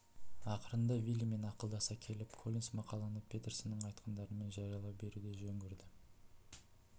ақырында виллимен ақылдаса келіп коллинс мақаланы петерсонның айтқандарымен жариялай беруді жөн көрді